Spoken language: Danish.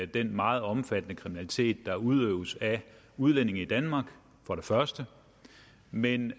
den meget omfattende kriminalitet der udøves af udlændinge i danmark men